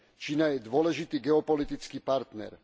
Čína je dôležitý geopolitický partner.